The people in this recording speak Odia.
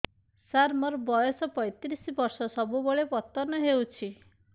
ସାର ମୋର ବୟସ ପୈତିରିଶ ବର୍ଷ ସବୁବେଳେ ପତନ ହେଉଛି